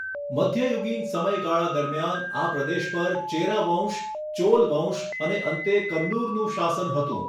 મધ્યયુગીન સમયગાળા દરમિયાન, આ પ્રદેશ પર ચેરા વંશ, ચોલ વંશ અને અંતે કન્નુરનું શાસન હતું.